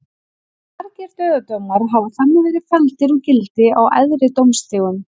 Margir dauðadómar hafa þannig verið felldir úr gildi á æðri dómstigum.